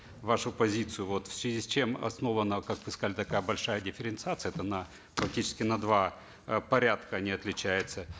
вашу позицию вот в связи с чем основана как вы сказали такая большая дифференциация это на практически на два э порядка они отличаются